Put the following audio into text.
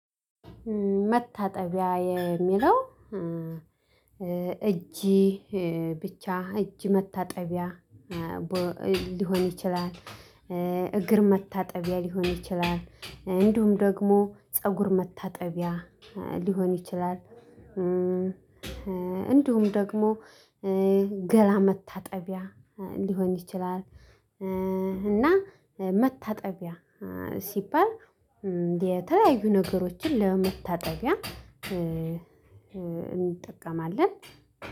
መታጠቢያ የሚለው እጅ ብቻ እጅ መታጠቢያ ሊሆን ይችላል እግር መታጠቢያ ሊሆን ይችላል። እንዲሁም ደግሞ ፀጉር መታጠቢያ ሊሆን ይችላል። እንዲሁም ደግሞ ገላ መታጠቢያ ሊሆን ይችላል። እና መታጠቢያ ሲባል የተለያዩ ነገሮችን ለመታጠቢያ እንጠቀማለን